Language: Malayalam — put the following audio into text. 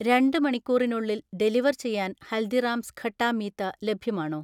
രണ്ട് മണിക്കൂറിനുള്ളിൽ ഡെലിവർ ചെയ്യാൻ ഹൽദിറാംസ് ഖട്ടാ മീത്ത ലഭ്യമാണോ?